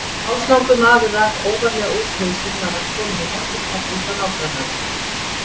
Ef hálslangur maður rak óvarlega út hausinn var hann kominn í morgunkaffi hjá nágrannanum.